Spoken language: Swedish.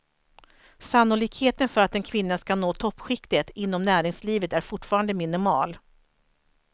Sannolikheten för att en kvinna ska nå toppskiktet inom näringslivet är fortfarande minimal.